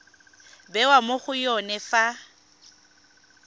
bewa mo go yone fa